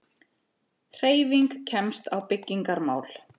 HREYFING KEMST Á BYGGINGARMÁL